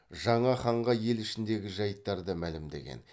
жаңа ханға ел ішіндегі жайттарды мәлімдеген